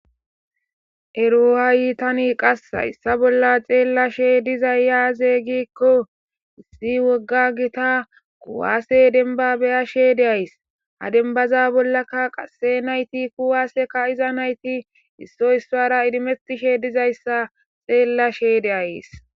Eroha yiitani qassaissa bolla xeella she dizayyaaze gikko issi wogga gita kuwaase denba beya sheede ays ha dembaza bollaka qasse nayti kuwaaseka iza nayti issoy issara idimetishe dizayssa xeella sheede ays.